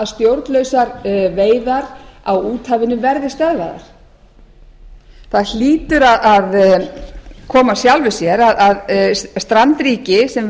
stjórnlausar veiðar á úthafinu verði stöðvaðar það hlýtur að koma af sjálfu sér að strandríki sem